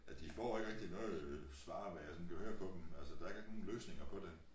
Ja de får ikke rigtig noget svar hvad jeg sådan kan høre på dem altså der er ikke sådan rigitg løsninger på det